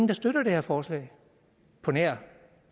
der støtter det her forslag på nær